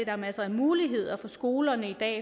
er masser af muligheder for skolerne i dag